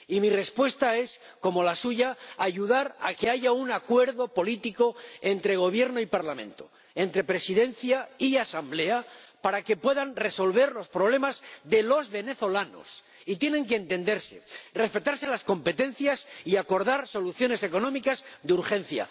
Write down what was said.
Y mi respuesta es, como la suya, ayudar a que haya un acuerdo político entre Gobierno y Parlamento, entre Presidencia y Asamblea, para que puedan resolver los problemas de los venezolanos, y tienen que entenderse, respetarse las competencias y acordar soluciones económicas de urgencia.